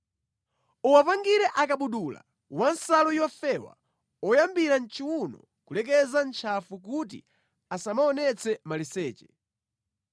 “Uwapangire akabudula a nsalu yofewa oyambira mʼchiwuno kulekeza mʼntchafu kuti asamaonetse maliseche.